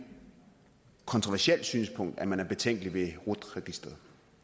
kontroversielt synspunkt at man er betænkelig ved rut registeret